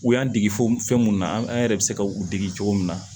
U y'an dege fo fɛn mun na an yɛrɛ bɛ se ka u dege cogo min na